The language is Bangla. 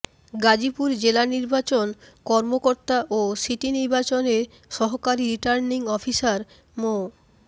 গাজীপুর জেলা নির্বাচন কর্মকর্তা ও সিটি নির্বাচনের সহকারী রিটার্নিং অফিসার মো